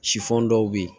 Sifɔn dɔw be yen